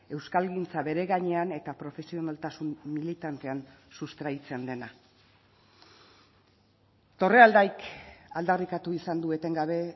euskalgintza beregainean eta profesionaltasun militantean sustraitzen dena torrealdaik aldarrikatu izan du etengabe